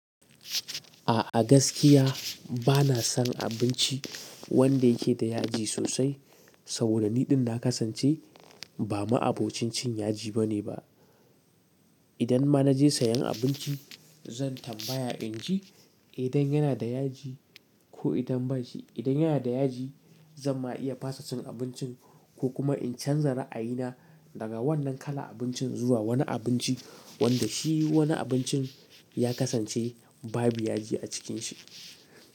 A'a gaskiya bana son abinci wanda yake da yaji sosai. Saboda niɗin na kasance ba ma'abocin cin yaji bane ba. Idan ma na je sayan abinci zan tambaya in ji idan yana da yaji ko idan ba shi. Idan yana da yaji zan ma iya fasa cin abincin ko kuma in canza ra'ayi na daga wannan kalan abincin zuwa wani abinci wanda shi wani abincin ya kasance babu yaji a cikin shi.